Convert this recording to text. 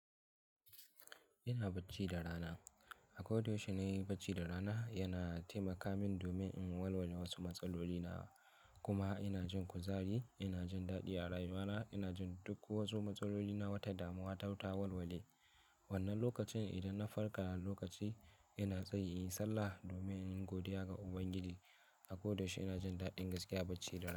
Ina bacci da rana. A kodayaushe na yi bacci da rana, yana taimaka min domin in warware wasu matsaloli na kuma ina jin kuzari, ina jin daɗi a rayuwa na, ina jin duk wasu matsaloli na wata damuwa ta wata warware. Wannan lokacin idan na farka lokaci ina tsaiyi sallah domin in godiya ga Ubangiji. Akoda shi ina jin daɗin gaskiya bacci da rana.